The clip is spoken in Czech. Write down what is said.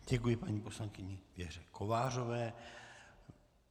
Děkuji paní poslankyni Věře Kovářové.